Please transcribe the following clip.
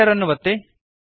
Enter ಅನ್ನು ಒತ್ತಿರಿ